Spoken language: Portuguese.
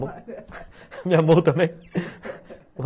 Me amou também